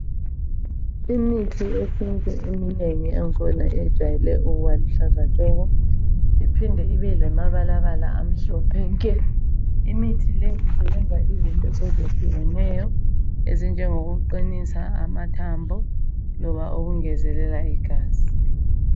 Imithi yesintu eminengi yakhona yejwayele ukuba luhlaza tshoko iphinde ibe lamabalabala amhlophe nke imithi le usebenza izinto ezitshiyeneyo ezinjengokuqinisa amathambo loba ukwengezeleka igazi